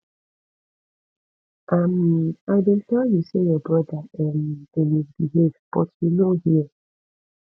um i bin tell you say your brother um dey misbehave but you no hear